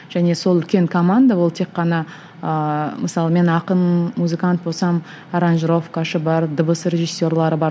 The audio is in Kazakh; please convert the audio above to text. және сол үлкен команда ол тек қана ыыы мысалы мен ақын музыкант болсам бар дыбыс режиссерлары бар